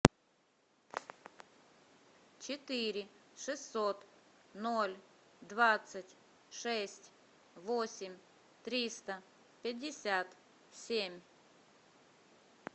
четыре шестьсот ноль двадцать шесть восемь триста пятьдесят семь